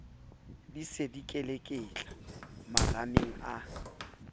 di se dikeleketla marameng a